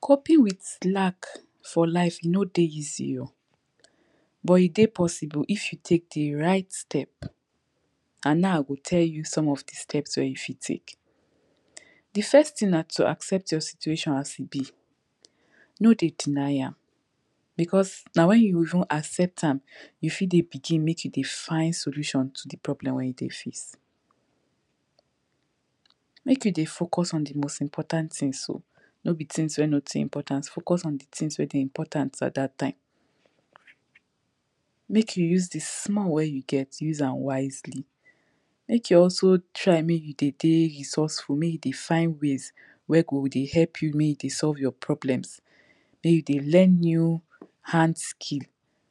coping with lack for life e no dey easy oh but e dey possible if you take the right step an now i go teh you some of the steps wey you fit take the first tin na to accept your situation as e be no dey deny am because na when you even accept am you fit dey begin make you dey find solution to dey problems wey you dey face make you dey focus on the important tins o no be tins wey no too important focus on the tins wey dey important at dat time make you just dey small wey you get use am wisely make you also try make e dey dey resourceful make you dey find ways wey go dey help you make you dey solve your problems make you dey learn new hand skill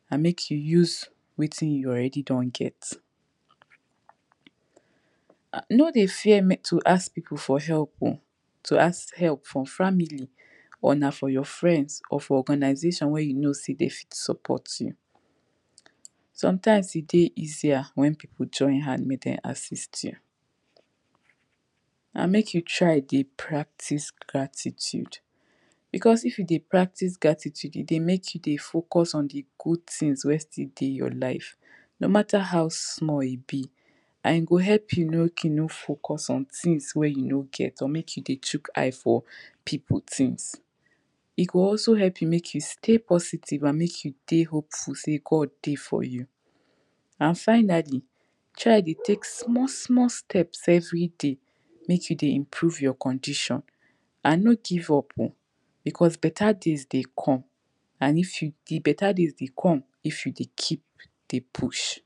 an make you use wetin you don already get no dey fear to ask people for help o to ask help from family to ask help from family or na for your friends or for organization wey you know say dey fit support you Sometimes e dey easier when people dey join hand make Dem assist you an make you try dey practice gratitude because if you dey practice gratitude, e dey make you dey focus on the good things wey still dey your life no mata how samll e be e go help you make you no focus on tins wey you no get or make you dey choke eye for people tins? e go also help you make you stay positive and make you dey hopeful sey God dey for you. And finally try dey take small small steps everyday make you dey improve your condition an no give up oh because beta days dey come an if you, beta days dey come if you dey keep dey push